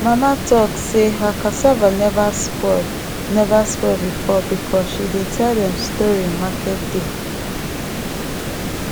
mama talk sey her cassava never spoil never spoil before because she dey tell dem story market day